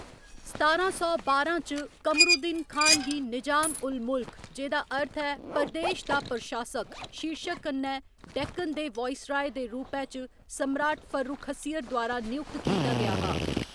सतारां सौ बारां च, कमरउद्दीन खान गी निजाम उल मुल्क जेह्‌दा अर्थ ऐ प्रदेश दा प्रशासक शीर्शक कन्नै डेक्कन दे वाइसराय दे रूपै च सम्राट फर्रुखसियर द्वारा नयुक्त कीता गेआ हा।